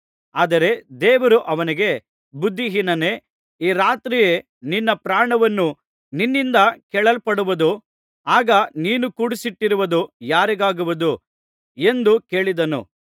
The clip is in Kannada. ಆದರೆ ದೇವರು ಅವನಿಗೆ ಬುದ್ಧಿಹೀನನೇ ಈ ರಾತ್ರಿಯೇ ನಿನ್ನ ಪ್ರಾಣವನ್ನು ನಿನ್ನಿಂದ ಕೇಳಲ್ಪಡುವುದು ಆಗ ನೀನು ಕೂಡಿಸಿಟ್ಟಿರುವುದು ಯಾರಿಗಾಗುವುದು ಎಂದು ಕೇಳಿದನು